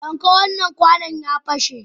Dauka wannan kwano, ya pashe!